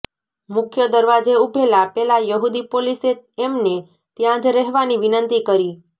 મુખ્ય દરવાજે ઊભેલા પેલા યહૂદી પોલીસે એમને ત્યાં જ રહેવાની વિનંતી કરી